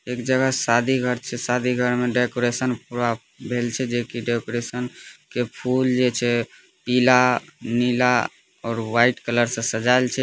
एक जगह शादी घर छै शादी घर में सजावट पुरा भेल छै जे की सजावट के फूल जे छै पिलानीला और व्हाइट कलर से सजायल छै।